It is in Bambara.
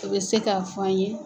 O bɛ se k'a fɔ an ye.